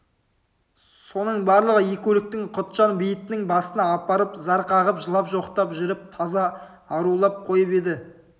соның барлығы екі өлікті құтжан бейітінің басына апарып зар қағып жылап жоқтап жүріп таза арулап қойып еді